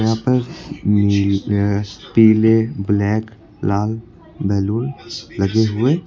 यहां पर पीले ब्लैक लाल बैलून लगे हुए--